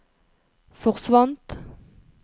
forsvant